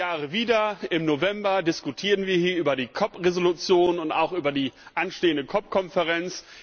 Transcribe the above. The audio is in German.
Alle Jahre wieder im November diskutieren wir hier über die COP Resolution und auch über die anstehende COP Konferenz.